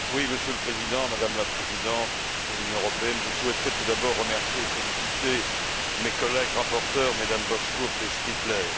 Monsieur le Président, Madame la Présidente de l'Union européenne, je souhaiterais tout d'abord remercier et féliciter mes collègues rapporteures, M Bozkurt et Striffler.